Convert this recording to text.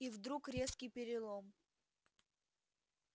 и вдруг резкий перелом